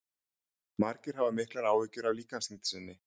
margir hafa miklar áhyggjur af líkamsþyngd sinni